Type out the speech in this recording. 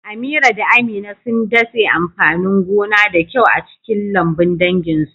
Amira da Amina sun datse amfanin gona da kyau a cikin lambun danginsu.